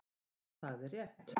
Og það er rétt.